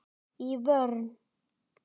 Í vörn.